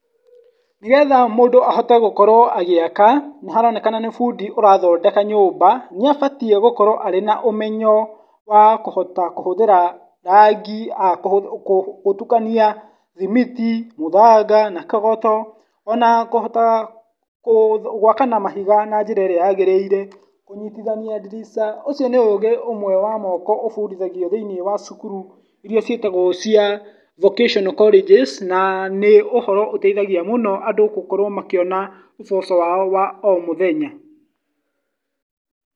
Nĩgetha mũndũ ahote gũkorwo agĩaka, nĩ haroneka nĩ bundi ũrathondeka nyũmba, nĩ abatie gũkorwo arĩ na ũmenyo, wa kũhota kũhũthĩra rangi, gũtukania, thimiti, mũthanga, na kagoto ona kũhota gwaka na mahiga, na njĩra ĩrĩa yagĩrĩire, kũnyitithania dirica ũcio nĩ ũgĩĩ ũmwe wa moko ũbundithagĩo thĩiniĩ wa cukuru iria ciatagwo cia vocational College na nĩ ũhoro ũteithagia mũno andũ gũkorwo makĩona, ũboco wao wa omũthenya.